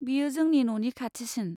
बेयो जोंनि न'नि खाथिसिन।